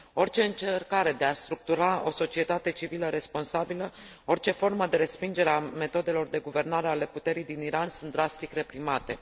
Orice încercare de a structura o societate civilă responsabilă, orice formă de respingere a metodelor de guvernare ale puterii din Iran sunt drastic reprimate.